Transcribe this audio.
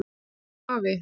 Ó, afi.